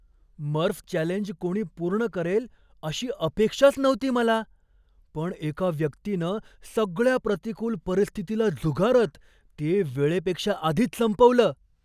मर्फ challenge कोणी पूर्ण करेल अशी अपेक्षाच नव्हती मला, पण एका व्यक्तीनं सगळ्या प्रतिकूल परिस्थितीला झुगारत ते वेळेपेक्षा आधीच संपवलं.